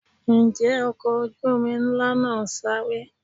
Ǹjẹ́ ọkọ̀ ojú omi ńlá náà ń sáré?